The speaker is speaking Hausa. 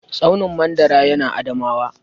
Tsaunin mandara ya na Adamawa